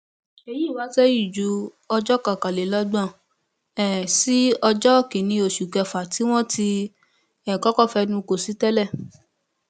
èyí wá sẹyìn ju ọjọ kọkànlélọgbọn um sí ọjọ kìnínní oṣù kẹfà tí wọn ti um kọkọ fẹnu kò sí tẹlẹ